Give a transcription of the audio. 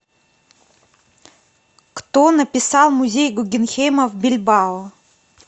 кто написал музей гуггенхейма в бильбао